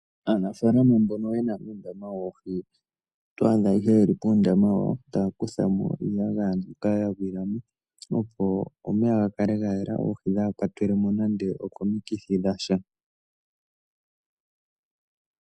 Aanafalama mboka haya ningi uundama woohi oto adha yeli puundama wawo taya kuthamoo iiyagaya mbyoka yagwilamo opo omeya ga kale gayela oohi kadhi kwatelwemo nande okomikithi dhasha.